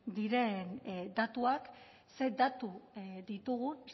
diren datuak ze datu ditugun